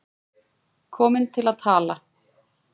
Komin til að tala.